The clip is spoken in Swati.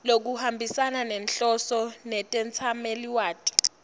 lokuhambisana nenhloso netetsamelilwati